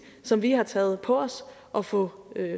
som vi har taget på os at få